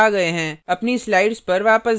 अपनी slides पर वापस जाएँ